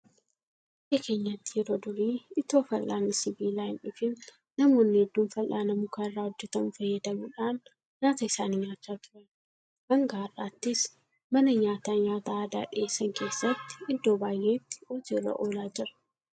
Biyya keenyatti yeroo durii itoo fal'aanni sibiilaa hindhufin namoonni hedduun fal'aana muka irraa hojjetamu fayyadamuudhaan nyaata isaanii nyaachaa turan. Hanga har'aattis mana nyaataa nyaata aadaa dhiyeessan keessatti iddoo baay'eetti hojiirra oolaa jira.